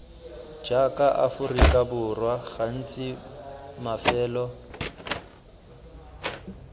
jaaka aforika borwa gantsi mafelo